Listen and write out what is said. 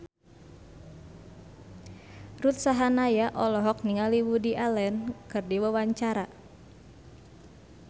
Ruth Sahanaya olohok ningali Woody Allen keur diwawancara